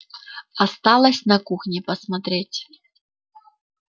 осталось на кухне посмотреть